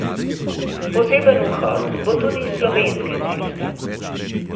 Poseben vhod bo tudi s Slovenske ceste.